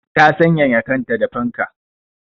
Ta sanyaya kanta da fanka.